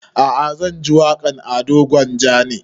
A'a zan ji waƙan ado gwanja ne